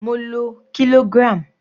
Mo lo kilogram.